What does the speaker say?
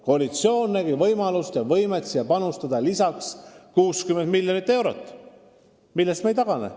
Koalitsioon nägi võimalust ja võimet panustada siia lisaks 60 miljonit eurot ja sellest otsusest me ei tagane.